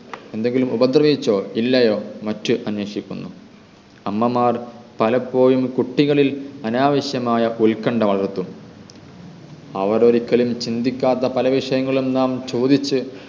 എന്തെങ്കിലും ഉപദ്രവിച്ചോ ഇല്ലയോ മറ്റ് അന്വേഷിക്കുന്നു അമ്മമാർ പലപ്പോഴും കുട്ടികളിൽ അനാവശ്യമായ ഉൽകണ്ഡ വളർത്തുന്നു അവർ ഒരിക്കലും ചിന്തിക്കാത്ത പല വിഷയങ്ങളും നാം ചോദിച്ച്